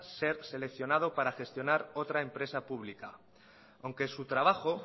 ser seleccionado para gestionar otra empresa pública aunque su trabajo